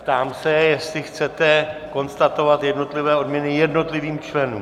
Ptám se, jestli chcete konstatovat jednotlivé odměny jednotlivým členům.